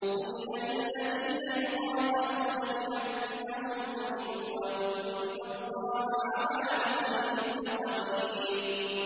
أُذِنَ لِلَّذِينَ يُقَاتَلُونَ بِأَنَّهُمْ ظُلِمُوا ۚ وَإِنَّ اللَّهَ عَلَىٰ نَصْرِهِمْ لَقَدِيرٌ